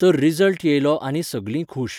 तर रिजल्ट येयलो आनी सगलीं खूश.